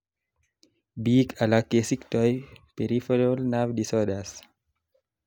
biik alak kesiktoi peripheral nerve disorders